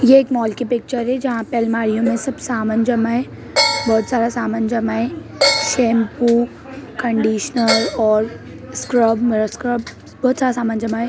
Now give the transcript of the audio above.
यह एक मॉल की पिक्चर है जहां पर अलमारियों में सब सामान जमा है बहुत सारा सामान जमा है बहुत सारा सामान जमा है शैंपू कंडीशनर और स्क्रब स्क्रब बहुत सारा सामान जमा है।